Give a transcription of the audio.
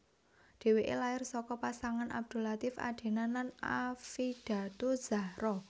Dheweke lair saka pasangan Abdul Latief Adenan lan Affidatuzzahro